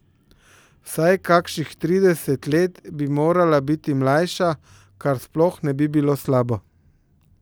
Vsaj kakšnih trideset let bi morala biti mlajša, kar sploh ne bi bilo slabo.